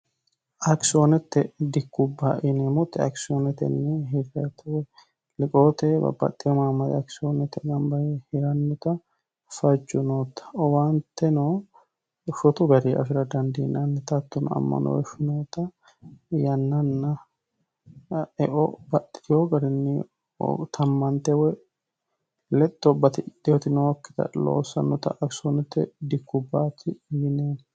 akisoonette dikkubba yineemoti akisoonotenni hirete liqoote babbaxxeno maammari akisoonete gamba Yee hirannota fajjo nootta owaanteno shotu gari afi'ra dandiinannita hattono ammanooshi noota yannanna eo baxxitino garinni tammante woy lexxo batidhinoti nookkita loosannota akisiyoonotte dikkubbaati yineemo